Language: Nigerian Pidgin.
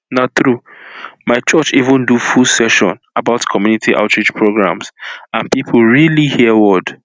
na truemy church even do full session about community outreach programs and people really hear word